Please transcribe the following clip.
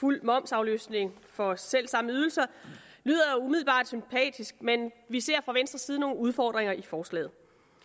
fuld momsafløftning for selv samme ydelser lyder umiddelbart sympatisk men vi ser fra venstres side nogle udfordringer i forslaget